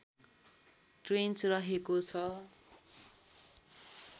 trench रहेको छ